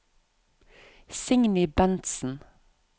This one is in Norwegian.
Signy Bentsen